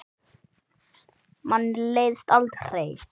Manni leiðist aldrei.